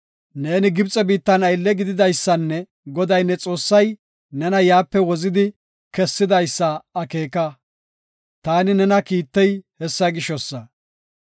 Neeni Gibxe biittan aylle gididaysanne Goday ne Xoossay nena yaape wozidi kessidaysa akeeka. Taani nena kiittey hessa gishosa.